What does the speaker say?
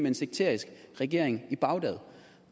en sekterisk regering i bagdad